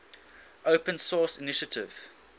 open source initiative